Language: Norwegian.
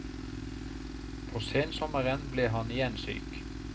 På sensommeren ble han igjen syk.